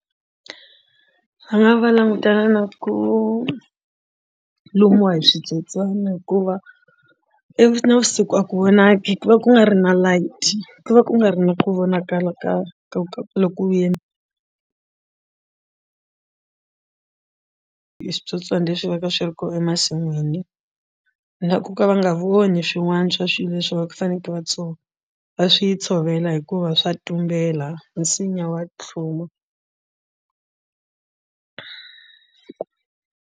Va nga va langutana na ku lumiwa hi switsotswani hikuva i navusiku a ku vonaki ku va ku nga ri na light ku va ku nga ri na ku vonakala kahle ka ku hi switsotswana leswi va ka swi ri kona emasin'wini na ku ka va nga voni swin'wana swa swilo leswi va faneleke va swi tshovela hikuva swa tumbela nsinya wa tlhuma.